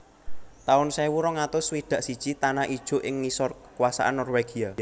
taun sewu rong atus swidak siji Tanah Ijo ing ngisor kakuasan Norwegia